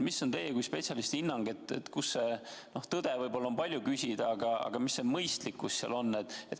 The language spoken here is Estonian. Milline on teie kui spetsialisti hinnang: kus on see tõde – no tõde on võib-olla palju küsida – või mis on mõistlik?